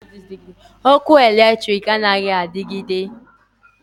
Ọkụ latrik anaghị adigide.